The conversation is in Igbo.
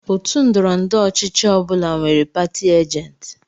Òtù ndọrọndọrọ ọchịchị ọ bụla nwere pati ajenti.